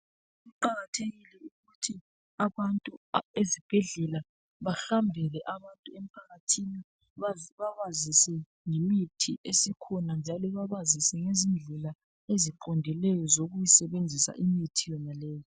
Kuqakathekile ukuthi abantu ezibhedlela bahambele abantu emphakathini babazise ngemithi esikhona njalo babazise ngezindlela eziqondileyo zokuyisebenzisa imithi yonaleyo.